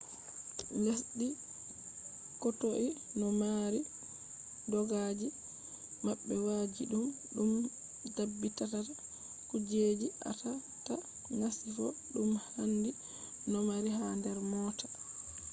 lesde kotoi no mari dokaji mabbe wajjididum dum dabbitata kujjeji atata masifo dum handi domari ha der moota